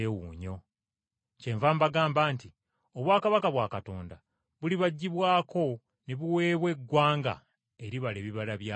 “Kyenva mbagamba nti, Obwakabaka bwa Katonda bulibaggyibwako ne buweebwa eggwanga eribala ebibala byabwo.